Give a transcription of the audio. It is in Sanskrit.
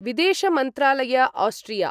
विदेशमन्त्रालय आस्ट्रिया